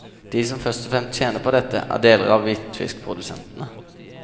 De som først og fremst tjener på dette, er deler av hvitfiskprodusentene.